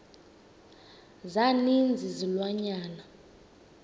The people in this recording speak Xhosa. za ninzi izilwanyana